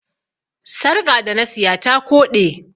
Sarƙa da na siya ta koɗe.